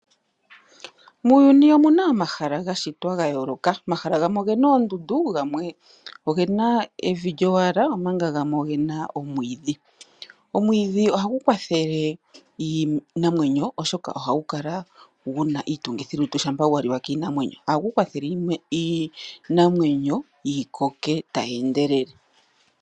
Muuyuni omuna omahala gashitwa gayooloka,. Oamahala gamwe ogena oondundu, gamwe evi lyowala, osho wo omwiidhi. Omwiidhi ohagu kwathele iinamwenyo, oshoka oguna iitungithilutu, osho wo opo yi koke tayi endelele.